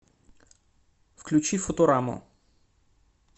включи футураму